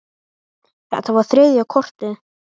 Þetta var þriðja kortið.